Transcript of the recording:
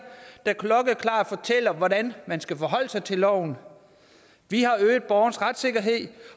og hvordan man skal forholde sig til loven vi har øget borgerens retssikkerhed